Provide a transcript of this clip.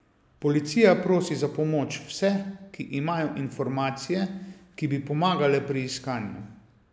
Policija prosi za pomoč vse, ki imajo informacije, ki bi pomagale pri iskanju.